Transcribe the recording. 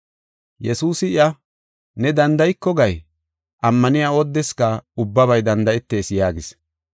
Yesuusi iya, “ ‘Neeni danda7iko gay?’ Ammaniya oodeska ubbabay danda7etees” yaagis.